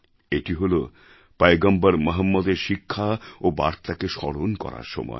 এটি হল পয়গম্বর মহম্মদের শিক্ষা এবং বার্তাকে স্মরণ করার সময়